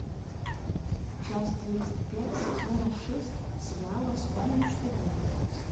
часть тридцать пять сезона шесть сериала вспомни что будет